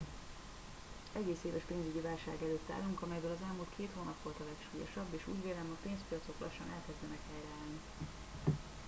egész éves pénzügyi válság előtt állunk amelyből az elmúlt két hónap volt a legsúlyosabb és úgy vélem a pénzpiacok lassan elkezdenek helyreállni